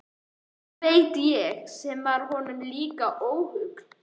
Hvað veit ég sem var honum líka ókunnug.